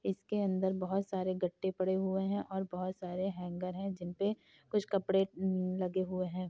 इसके अंदर बहुत सारे गट्टे पड़े हुए हैं और बहुत सारे हँगर है जिन पे कुछ कपड़े लगे हुए हैं।